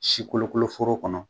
Si kolokoloforo kɔnɔ